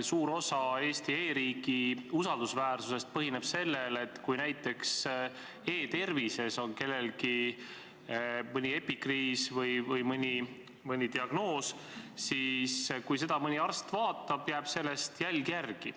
Suur osa Eesti e-riigi usaldusväärsusest põhineb sellel, et kui näiteks e-tervises on kirjas mõni epikriis või diagnoos, siis juhul, kui mõni arst seda vaatab, jääb selle kohta jälg.